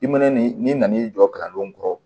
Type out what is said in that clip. I mɛnɛ ni n'i nan'i jɔ kalandenw kɔrɔ